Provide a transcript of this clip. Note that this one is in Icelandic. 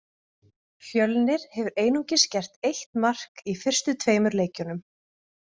Fjölnir hefur einungis gert eitt mark í fyrstu tveimur leikjunum.